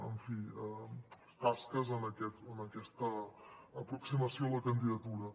en fi tasques en aquesta aproximació a la candidatura